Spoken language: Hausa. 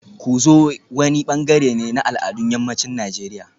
Ku zo wani bangare ne na al'adun yammacin Najeriya